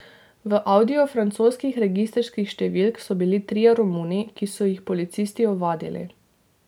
V audiju francoskih registrskih številk so bili trije Romuni, ki so jih policisti ovadili.